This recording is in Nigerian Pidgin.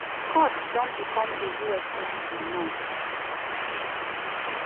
scott don become a us senator now.